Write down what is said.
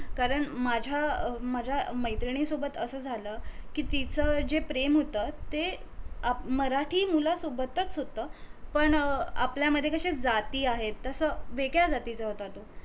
कारण माझ्या अं माझ्या मैत्रिणीनं सोबत अस झालं कि तीच जे प्रेम होत ते मराठी मुलासोबतच होत पण आपल्या मधे कशे जाती आहेत तस वेगळ्या जातीचा होता तो